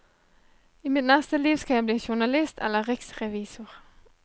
I mitt neste liv skal jeg bli journalist eller riksrevisor.